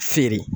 Feere